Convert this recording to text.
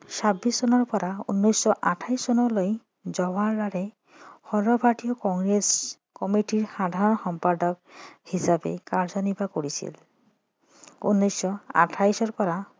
ছাব্বিছ চনৰ পৰা উনৈছশ আঠাইছ চনলৈ জৱাহৰলালে সৰ্বভাৰতীয় কংগ্ৰেছ কমিটিৰ সাধাৰণ সম্পাদক হিচাপে কাৰ্য্যনিৰ্বাহ কৰিছিল উনৈছশ আঠাইছৰ পৰা